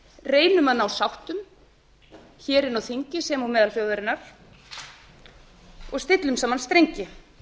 reynum að ná sáttum inni á þingi sem og meðal þjóðarinnar og stillum saman strengi